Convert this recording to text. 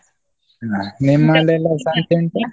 ಹಾ ಸಂತೆ ಉಂಟಾ?